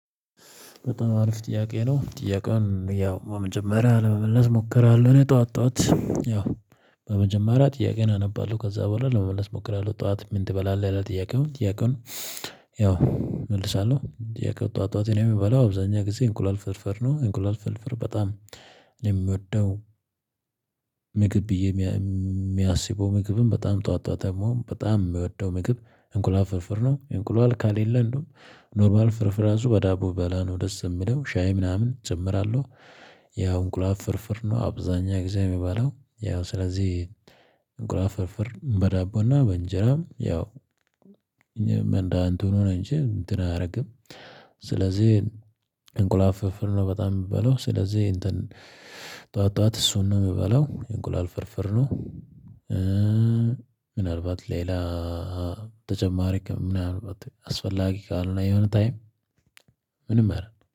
በጣም አሪፍ ጥያቄ ነው ጥያቄውን ያው በመጀመሪያ ለመመለስ እሞክራለሁ። እኔ ጠዋት ጠዋት ያው በመጀመሪያ ጥያቄን አነባለሁ ከዛ በኋላ ለመመለስ እሞክራለሁ ጠዋት። ምን ትበላለህ ይላል? ጥያቄውን ጥያቄውን። ያው እመልሳለሁ የከበተው አጥተው እኔ የምበላው አብዛኛው ጊዜ እንቁላል ፍርፍር ነው። እንቁላል ፍርፍር በጣም ነው የሚወደው። ምግብ ብዬ የሚያስበው ምግብም በጣም ጠዋት ጠዋት ደግሞ በጣም በወደው ምግብ እንቁላል ፍርፍር ነው። እንቁላል ካሌለ እንደውም ኖርማል ፍርፍራ አዞ በዳቦብበላ ነው ደስ የምለው ሻይ ምናምን እጨምራለሁ። ያው እንቁላል ፍርፍር ነው አብዛኛ ጊዜ የሚባለው ያው ስለዚህ። ግራ ፍርፍር በዳቦና በእንጀራም ያው እንደ አንተ ሆኖ እንጅ እንትን አያደርግም። ስለዚህ እንቁላል ፍርፍር ነው በጣም የምበለው ስለዚህ እንትን። ጠዋት ጠዋት እሱን ነው የምበለው የእንቁላል ፍርፍር ነው። ኧ ምናልባት ሌላ ተጨማሪ ምናልባት አስፈላጊ ካልሆነ የሆነ ታይም ምንም አረን